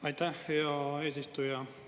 Aitäh, hea eesistuja!